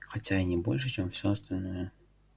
хотя и не больше чем всё остальное